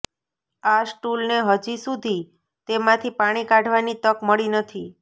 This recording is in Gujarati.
આ સ્ટૂલને હજી સુધી તેમાંથી પાણી કાઢવાની તક મળી નથી